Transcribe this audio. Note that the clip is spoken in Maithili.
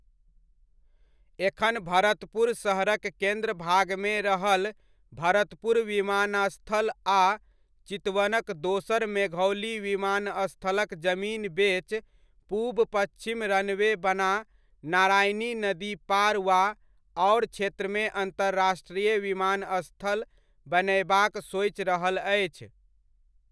एखन भरतपुर शहरक केन्द्र भागमे रहल भरतपुर विमानस्थल आ चितवनक दोसर मेघौली विमानस्थलक जमीन बेच पूब पच्छिम रनवे बना नारायणी नदीपार वा आओर क्षेत्रमे अन्तर्राष्ट्रीय विमानस्थल बनयबाक सोचि रहल अछि।